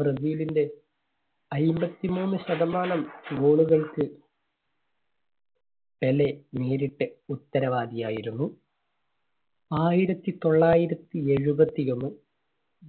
ബ്രസീലിന്റെ അയ്മ്പത്തിമൂന്ന് ശതമാനം goal കൾക്ക് പെലെ നേരിട്ട് ഉത്തരവാദി ആയിരുന്നു. ആയിരത്തി തൊള്ളായിരത്തി എഴുപത്തി ഒന്ന്